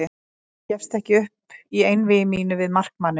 Ég gafst ekki upp í einvígi mínu við markmanninn.